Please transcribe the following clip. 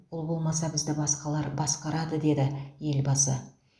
ол болмаса бізді басқалар басқарады деді елбасы